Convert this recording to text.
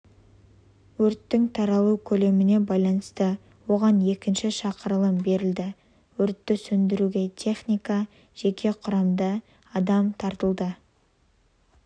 өрттің таралу көлеміне байланысты оған екінші шақырылым берілді өртті сөндіруге техника жеке құрамында адам тартылды